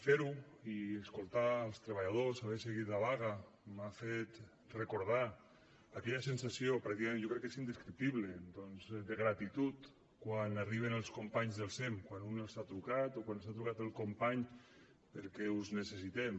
fer ho i escoltar els treballadors haver seguit la vaga m’ha fet recordar aquella sensació pràcticament jo crec que és indescriptible doncs de gratitud quan arriben els companys del sem quan un els ha trucat o quan els ha trucat el company perquè us necessitem